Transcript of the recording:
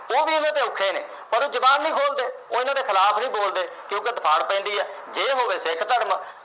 ਉਹ ਵੀ ਇਹਦੇ ਤੋਂ ਔਖੇ ਨੇ, ਪਰ ਉਹ ਜੁਬਾਨ ਨੀ ਖੋਲਦੇ, ਉਹ ਇਹਨਾਂ ਦੇ ਖਿਲਾਫ ਨਹੀਂ ਬੋਲਦੇ ਕਿਉਂਕਿ ਪੈਂਦੀ ਆ। ਜੇ ਹੋਵੇ ਸਿੱਖ ਧਰਮ